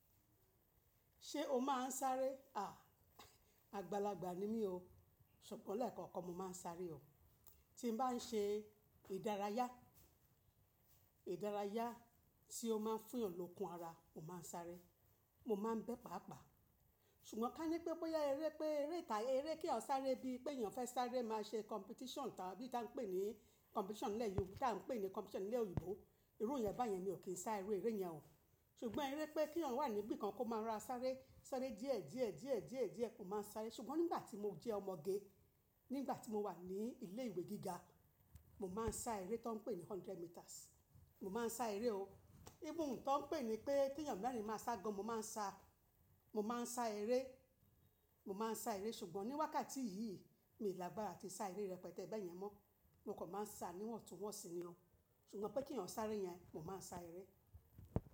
Ṣé o máà ń sáré? Àgbàlagbà ni mí o, ṣùgbọ́n lẹ́ẹ̀kan kan mo máa ń sáré o. Tí mo bá n ṣe ìdárayá, ìdárayá tí ó máa ń fún eyan lọ̀ọ́kùn ara, mo máa ń sáré. Mo máa ń bẹ́ paapaa. Ṣùgbọ́n ká ní pé bóyá eré pé eré ità eré kí eeyan sáré bí i pé èèyàn fẹ́ sáré máa ṣe competition tábí ìta n pè ní competition nlẹ́ Yorù, bí ìta n pè ní competition ní ilẹ̀ oyinbo. Irú ìyẹ́n bayẹn mi ò kí n sá iru eré yẹn o. Ṣùgbọ́n eré pé kí eeyan wà níbí kan kó máa rora sáré, sáré díẹ̀, díẹ̀, díẹ̀, díẹ̀, díẹ̀ mó máa ń sáré. Ṣùgbọ́n nígbà tí mo jẹ́ ọmọge, nígbà tí mo wà ní ilé ìwé gíga, mo máa ń sá eré tó n pè ní hundred meters. Mo máa ń sá eré o. Even tó n pè ní pé kí eeyan merìn máa sá gan, mo máa ń sá, mo máa ń sá eré, mo máa ń sá eré. Ṣùgbọ́n ní wákàtí yìí mi làgbàra atí sá eré rẹpẹtẹ bẹ́ yẹn mọ́. Mo kan máa ń sá níwọ̀n tun wọ́n sì ní o. Ṣùgbọ́n pé kí ọ̀ọ́ sáré yẹn, mo máa ń sá eré.